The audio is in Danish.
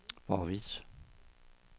hvorvidt